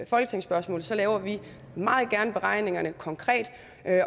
folketingsspørgsmål så laver vi meget gerne beregningerne konkret